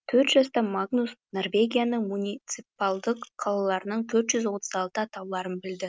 төрт жаста магнус норвегияның муниципалдық қалаларының төрт жүз отыз алты атауларын білді